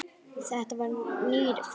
Þetta var nýr frakki.